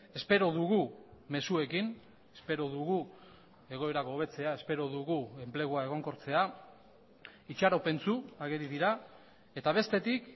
espero dugu mezuekin espero dugu egoerak hobetzea espero dugu enplegua egonkortzea itxaropentsu ageri dira eta bestetik